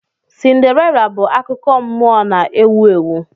Cinderella bụ akụkọ nmụọ na-ewu ewu.